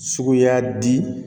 Suguya di